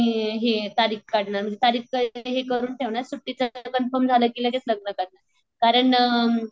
मग त्याच्या नंतर आम्ही हे तारीख काढणार म्हणजे तारीख हे करून ठेवणार सुट्टीच कॉन्फेर्म झालं कि लगेच लग्न करणार.